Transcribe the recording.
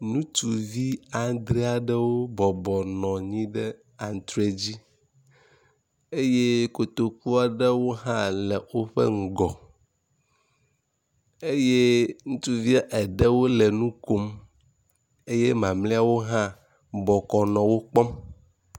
Ŋutsuvi adre aɖewo bɔbɔ nɔ antre dzi eye kotoku aɖewo hã le woƒe ŋgɔ eye ŋutsuvia eɖewo nɔ nukom eye mamlɛawo hã bɔkɔ nɔ wokpɔ